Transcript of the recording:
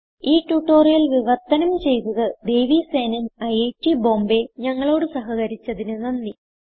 ഈ ട്യൂട്ടോറിയൽ വിവർത്തനം ചെയ്തത് ദേവി സേനൻ ഐറ്റ് ബോംബേ ഞങ്ങളോട് സഹകരിച്ചതിന് നന്ദി